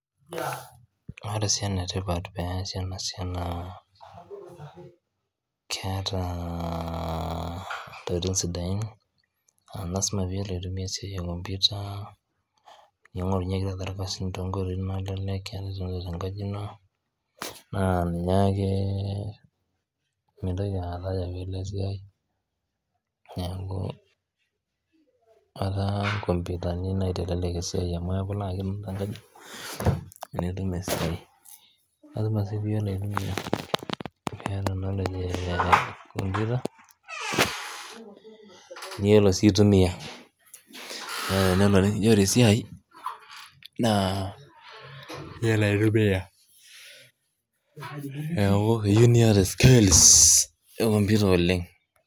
ore paa enetipat pee esi enasiai naa keeta intokitin sidain naa ilasima pee itumiyai kompuita, pee ing'orunyieki ilkasin too inkoitoi naleklek, naa ninyake mintoki ayakatinilo esiai, neeku etaa inkompuitani naitelek esiai niyiolo sii aitumiya naa iyiolo aitumia neeku keyieu niyata skills ekompuita oleng'.